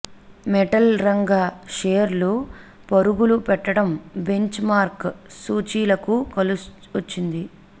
metal రంగ షేర్లు పరుగులు పెట్టడం బెంచ్ మార్క్ సూచీలకు కలిసొచ్చింది